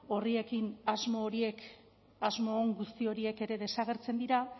horiekin asmo on guzti horiek ere desagertzen dira